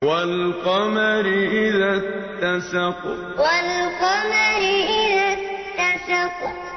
وَالْقَمَرِ إِذَا اتَّسَقَ وَالْقَمَرِ إِذَا اتَّسَقَ